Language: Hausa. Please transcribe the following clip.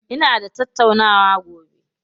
Ina da tattaunawa gobe.